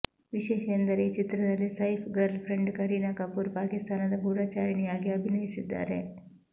ವಿಶೇಷ ಎಂದರೆ ಈ ಚಿತ್ರದಲ್ಲಿ ಸೈಫ್ ಗರ್ಲ್ಫ್ರೆಂಡ್ ಕರೀನಾ ಕಪೂರ್ ಪಾಕಿಸ್ತಾನದ ಗೂಢಚಾರಿಣಿಯಾಗಿ ಅಭಿನಯಿಸಿದ್ದಾರೆ